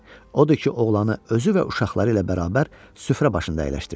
Odur ki, oğlanı özü və uşaqları ilə bərabər süfrə başında əyləşdirdi.